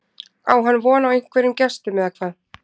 Á hann von á einhverjum gestum eða hvað?